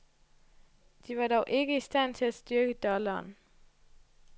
De var dog ikke i stand til at styrke dollaren.